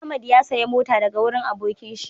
Ahmad ya saya mota daga wurin abokin shi